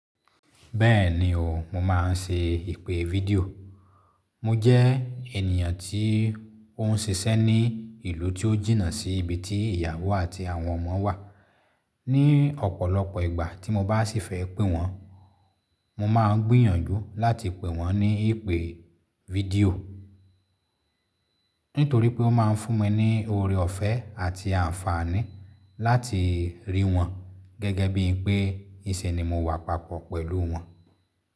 Bẹ́ẹ̀ni o, mo máa ń ṣe ìpè fídíò. Mo jẹ́ ènìyàn tí ó ń ṣiṣẹ́ ní ìlú tí ó jìnà sí ibi tí ìyàwó àti àwọn ọmọ wà. Ni ọ̀pọ̀lọpọ̀ ìgbà tí mo bá sì fẹ́ pè wọ́n, mo máa ń gbìyànjú láti pè wọ́n ní ìpè fídíò. Nítorí pé ó máa ń fún mi ní oore ọ̀fẹ́ àti àǹfààní láti rí wọn. Gẹ́gẹ́ bí pé ìnṣe ni mo wà papọ̀ pẹ̀lú wọn.